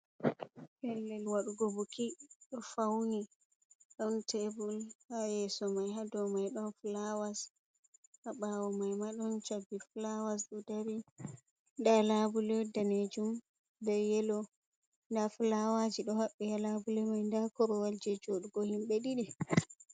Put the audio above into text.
Pellel waɗugo buki ɗo fauni, ɗon tebur ha yeso mai, hadow mai ɗon fulawas habawo mai ma ɗon cabbi fulawas ɗo dari, nda labule danejum be yelo, nda fulawaji ɗo haɓɓi halabule mai, nda korowal je joɗugo himɓe ɗiɗi.